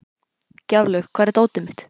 Gjaflaug, hvar er dótið mitt?